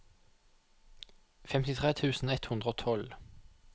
femtitre tusen ett hundre og tolv